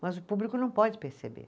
Mas o público não pode perceber.